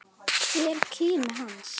Hver kimi hans.